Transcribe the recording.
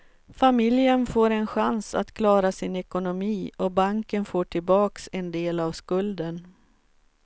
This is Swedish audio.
Familjen får en chans att klara sin ekonomi och banken får tillbaks en del av skulden.